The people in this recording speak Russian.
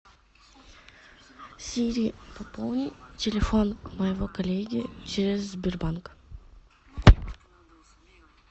сири пополни телефон моего коллеги через сбербанк